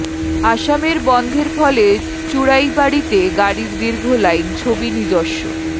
অসমের বন্ধের ফলে চুড়াইবাড়িতে গাড়ির দীর্ঘ লাইন ছবি নিজস্ব